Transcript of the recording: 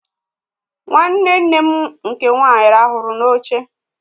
Nwanne nne m nke nwaanyị ràhụrụ n'oche